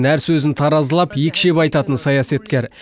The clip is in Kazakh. әр сөзін таразылап екшеп айтатын саясаткер